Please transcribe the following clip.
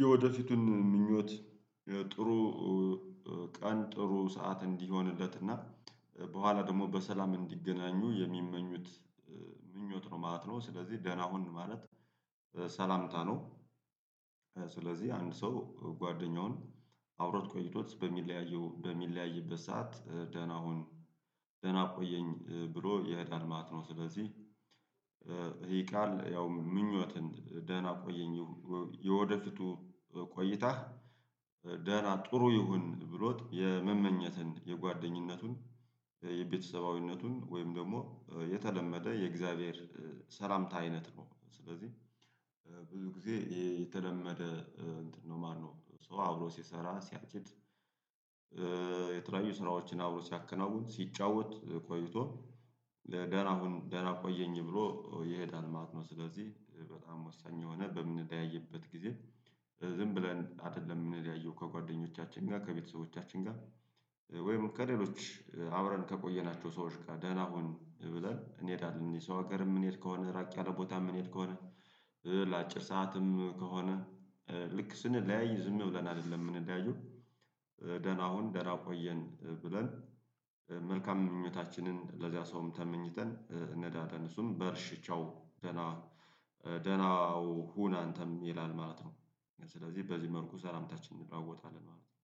የወደፊቱን ምኞት ጥሩ ቀን ጥሩ ሰዓት እንዲሆንለት እና በኋላ ደግሞ በሰላም እንዲገናኙ የሚመኙት ምኞት ነው ማለት ነው። ስለዚህ ደህና ሁን ማለት ሰላምታ ነው። ስለዚህ አንድ ሰው ጓደኛውን አውሮፕላን ቆይቶት በሚለያየው በሚለያየበት ሰዓት ደህና ሁን ደህና ቆየኝ ብሎ የዳር ማት ነው። ስለዚህ ይሄ ቃል ያው ምኞትን ደህና ቆየኝ የወደፊቱ ቆይታ ደህና ጥሩ ይሁን ብሎት የመመኘትን የጓደኝነቱን የቤተሰባዊነቱን ወይም ደግሞ የተለመደ የእግዚአብሔር ሰላምታ አይነት ነው። ስለዚህ ብዙ ጊዜ የተለመደ እንትን ነው ማነው ሰው አብሮ ሲሰራ ሲያጭድ። የተለያዩ ስራዎችን አብሮ ሲያከናውን ሲጫወት ቆይቶ ለደህና ሁን ደህና ቆየኝ ብሎ ይሄዳል ማለት ነው። ስለዚህ በጣም ወሳኝ የሆነ በምንዳይበት ጊዜ ዝም ብለን አይደለም የሚለያየው ከጓደኞቻችን ጋር ከቤተሰቦቻችን ጋር ወይም ከሌሎች አውረን ከቆየናቸው ሰዎች ጋር ደህና ሁን ብለን እንሄዳለን። የሰው ሀገርም ምን ሄድ ከሆነ ራቅ ያለ ቦታ ምን ሄድ ከሆነ። ለአጭር ሰዓትም ከሆነ ልክ ስንለያይ ዝም ይውለናል አይደለም ምን እንዳዩን። ደህና ሁን ደህና ቆየን ብለን መልካም ምኞታችንን ለዚያ ሰውም ተመኝተን እንዳተንሱም በእርሽ ቻው ደህና ደህናው ሁን አንተም ይላል ማለት ነው። ስለዚህ በዚህ መርኩ ሰላምታችን እንደራወጣለን ማለት ነው።